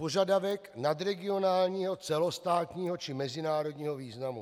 Požadavek nadregionálního, celostátního či mezinárodního významu.